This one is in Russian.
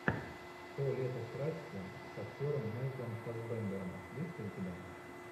то лето страсти с актером майклом фассбендером есть ли у тебя